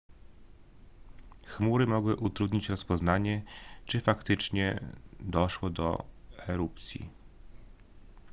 chmury mogły utrudnić rozpoznanie czy faktycznie doszło do erupcji